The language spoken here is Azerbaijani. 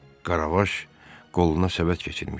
Karavaş qoluna səbət keçirmişdi.